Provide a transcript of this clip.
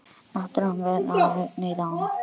Náttúra, mun rigna í dag?